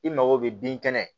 I mago bɛ bin kɛnɛ